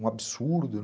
um absurdo.